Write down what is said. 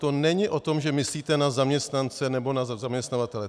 To není o tom, že myslíte na zaměstnance nebo na zaměstnavatele.